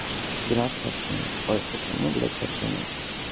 тринадцать сообщений ой сколько там ну блять сообщений